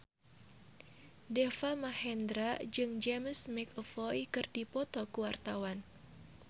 Deva Mahendra jeung James McAvoy keur dipoto ku wartawan